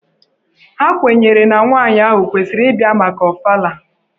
Ha kwenyere na nwaanyị ahụ kwesịrị ịbịa maka Ọfala.